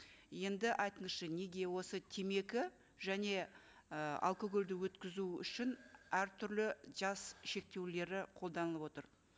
енді айтыңызшы неге осы темекі және і алкогольді өткізу үшін әртүрлі жас шектеулері қолданып отыр